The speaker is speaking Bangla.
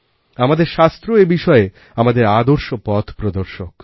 আমাদের শাস্ত্র এ বিষয়ে আমাদের আদর্শ পথ প্রদর্শক